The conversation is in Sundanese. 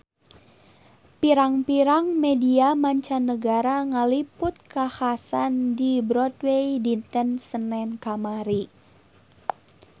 Pirang-pirang media mancanagara ngaliput kakhasan di Broadway dinten Senen kamari